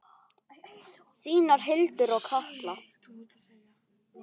Þínar Hildur og Katla.